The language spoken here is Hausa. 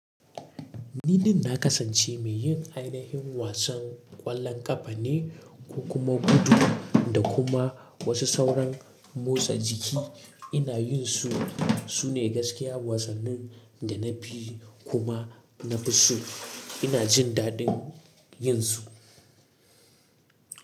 Ni din kasance mai yin ainihin wasan ƙwallon ƙafa ne ko kuma gudu da kuma wasu sauran motsa jiki. Ina yin su, su ne gaskiya wasannin da na fi kuma na fi so. Ina jin daɗin yin su.